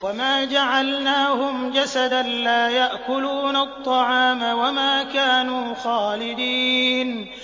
وَمَا جَعَلْنَاهُمْ جَسَدًا لَّا يَأْكُلُونَ الطَّعَامَ وَمَا كَانُوا خَالِدِينَ